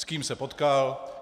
S kým se potkal?